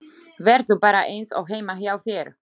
Vertu bara eins og heima hjá þér!